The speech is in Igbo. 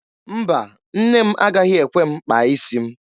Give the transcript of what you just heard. Mba, nne m agaghị ekwe m kpaa isi m.